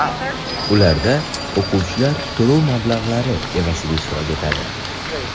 Ularda o‘quvchilar to‘lov mablag‘lari evaziga ishtirok etadi.